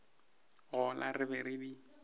gola re be re di